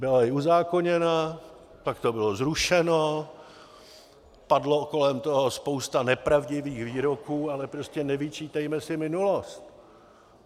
Byla i uzákoněna, pak to bylo zrušeno, padla kolem toho spousta nepravdivých výroků, ale prostě nevyčítejme si minulost.